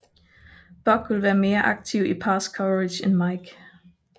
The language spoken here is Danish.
Buck vil være mere aktiv i pass coverage end Mike